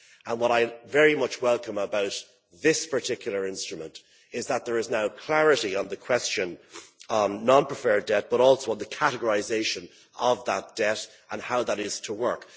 What I very much welcome about this particular instrument is that there is now clarity on the question on non preferred debt but also on the categorisation of that debt and how that is to work.